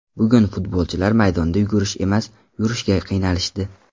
Bugun futbolchilar maydonda yugurish emas, yurishga qiynalishdi.